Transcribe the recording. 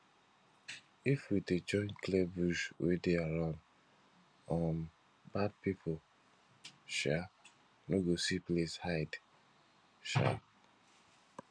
if we dey join clear bush wey dey around um bad pipo um no go see place hide um